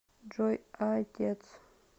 джой а отец